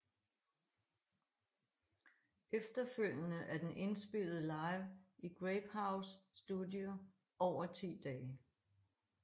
Efterfølgende er den indspillet live i Grapehouse Studio over 10 dage